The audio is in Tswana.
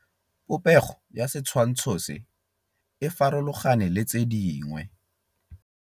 Popêgo ya setshwantshô se, e farologane le tse dingwe.